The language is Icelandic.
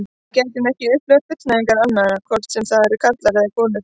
Við getum ekki upplifað fullnægingar annarra, hvort sem það eru karlar eða konur.